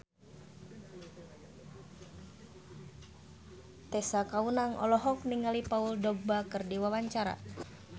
Tessa Kaunang olohok ningali Paul Dogba keur diwawancara